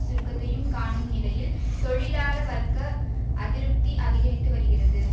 சுருக்கத்தையும் காணும் நிலையில் தொழிலாள வர்க்க அதிருப்தி அதிகரித்து வருகிறது